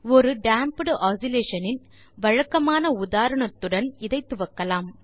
ஒரு damped oscillation இன் வழக்கமான உதாரணத்துடன் இதை துவக்கலாம்